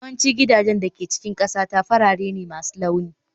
Yawancin gidajen da ke cikin ƙasata farare ne masu launi